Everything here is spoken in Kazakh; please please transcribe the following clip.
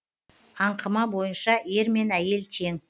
аңқыма бойынша ер мен әйел тең